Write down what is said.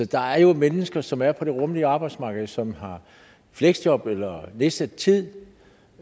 der er jo mennesker som er på det rummelige arbejdsmarked som har fleksjob eller er nedsat tid